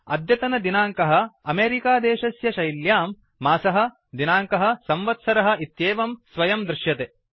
अद्यतन दिनाङ्कः अमेरिका देशस्य शैल्यां मासः दिनाङ्कः संवत्सरः इत्येवं स्वयं दृश्यते